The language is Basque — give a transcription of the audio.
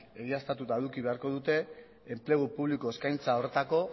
egiaztatuta eduki beharko dute enplegu publiko eskaintza horretako